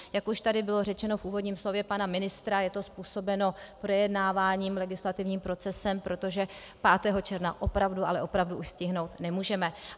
Jak už tady bylo řečeno v úvodním slově pana ministra, je to způsobeno projednáváním, legislativním procesem, protože 5. června opravdu, ale opravdu už stihnout nemůžeme.